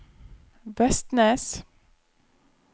Vestnes